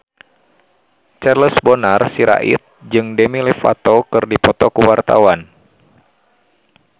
Charles Bonar Sirait jeung Demi Lovato keur dipoto ku wartawan